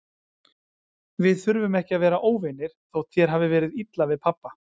Við þurfum ekki að vera óvinir, þótt þér hafi verið illa við pabba.